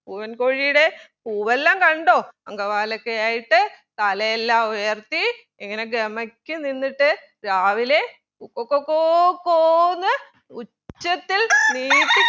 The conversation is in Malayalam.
പൂവൻ കോഴിടെ പൂവെല്ലാം കണ്ടോ അംഗ വാലൊക്കെയായിട്ട് തലയെല്ലാം ഉയർത്തി ഇങ്ങനെ ഗമക്ക് നിന്നിട്ട് രാവിലെ കൊക്ക കൊക്കോ കോ ന്ന് ഉച്ചത്തിൽ നീട്ടി